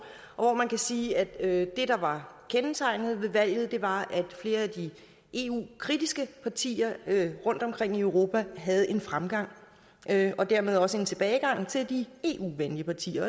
hvor man kan sige at det der var kendetegnet ved valget var at flere af de eu kritiske partier rundtomkring i europa havde fremgang og at der dermed også var tilbagegang til de eu venlige partier